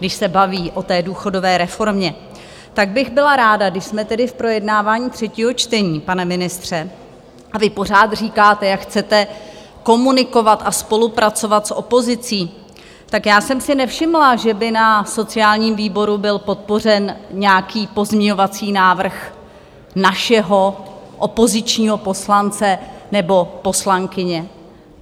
Když se baví o té důchodové reformě, tak bych byla ráda, když jsme tedy v projednávání třetího čtení, pane ministře, a vy pořád říkáte, jak chcete komunikovat a spolupracovat s opozicí, tak já jsem si nevšimla, že by na sociálním výboru byl podpořen nějaký pozměňovací návrh našeho opozičního poslance nebo poslankyně.